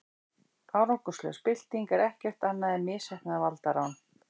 árangurslaus bylting er ekkert annað en misheppnað valdarán